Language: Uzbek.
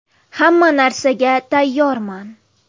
Hamma narsaga tayyorman.